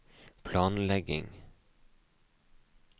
planlegging